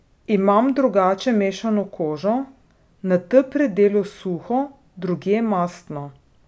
Imam drugače mešano kožo, na T predelu suho, drugje mastno.